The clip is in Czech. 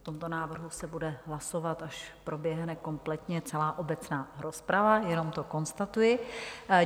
O tomto návrhu se bude hlasovat, až proběhne kompletně celá obecná rozprava, jenom to konstatuji.